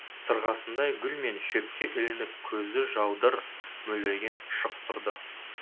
сырғасындай гүл мен шөпке ілініп көзі жаудыр мөлдіреген шық тұрды